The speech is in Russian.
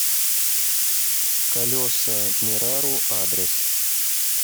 колесамирару адрес